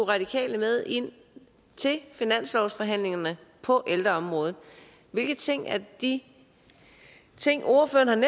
radikale med ind til finanslovsforhandlingerne på ældreområdet hvilke ting af de ting ordføreren